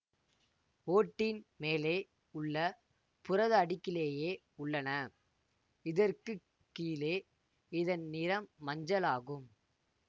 ஓட்டின் மேலே உள்ள புரத அடுக்கிலேயே உள்ளன இதற்கு கீழே இதன் நிறம் மஞ்சள் ஆகும்